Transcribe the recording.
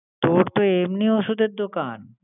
তোর তো এমনি ওষুধের দোকান।